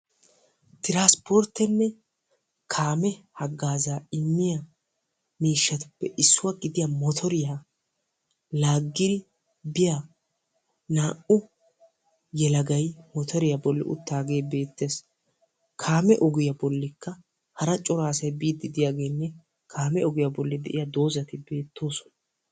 Tiransporttenne kaame hagaaza immiya miishshatuppe issuwa gidiyaa motoriyaa laaggidi biyaa naa"u yelagay motoriya bolli uttaage beettees. Kaame ogiyaa bollikka hara cora asay biiddi diyageenne kaame ogiya bolli de'iyaa doozati beettoosona.